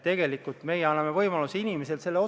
Kas protseduuriline küsimus, Riina Sikkut?